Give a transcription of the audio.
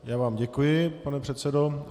Já vám děkuji, pane předsedo.